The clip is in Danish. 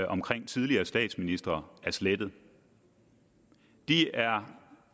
omkring tidligere statsministre er slettet de er